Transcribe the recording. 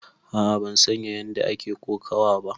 A'a ban san ƴanda ake kokawa ba.